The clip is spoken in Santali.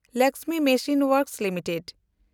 Lakshmi machine works limited